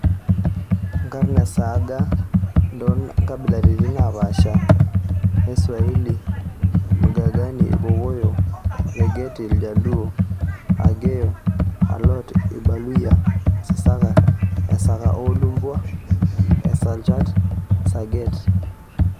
Nkarn esaaga ntoo kbabilaritin naaapasha Iswahili:Mgagani, Irkokoyo; Thageti, Iljaluo; Dek/Akeyo/A lot, Irbaluyia;T sisaka/Esaka oo Lumbwa; Isakchat/Sageet.